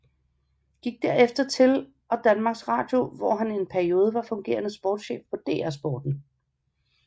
Gik derefter til og Danmarks Radio hvor han en periode var fungerende sportschef på DR Sporten